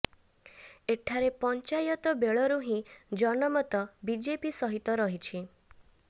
ଏଠାରେ ପଞ୍ଚାୟତ ବେଳରୁ ହିଁ ଜନମତ ବିଜେପି ସହିତ ରହିଛି